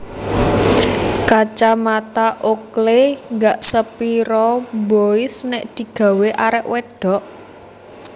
Kacamata Oakley gak sepiro mbois nek digawe arek wedhok